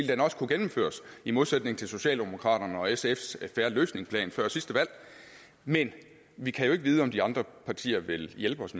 den også gennemføres i modsætning til socialdemokraterne og sfs en fair løsning plan fra før sidste valg men vi kan jo ikke vide om de andre partier vil hjælpe os